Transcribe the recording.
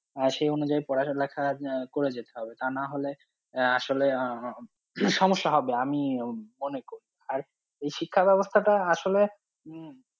আহ সেই অনুযায়ী পড়ালেখা আহ করে যেতে হবে তা নাহলে আহ আসলে আহ সমস্যা হবে আমি অনেক আর এই শিক্ষা ব্যবস্থাটা আসলে উম